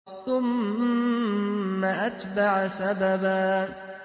ثُمَّ أَتْبَعَ سَبَبًا